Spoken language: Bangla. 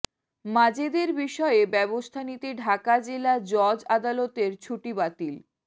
মাজেদের বিষয়ে ব্যবস্থা নিতে ঢাকা জেলা জজ আদালতের ছুটি বাতিল